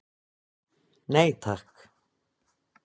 Nei takk.